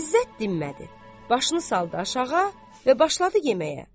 İzzət dinmədi, başını saldı aşağı və başladı yeməyə.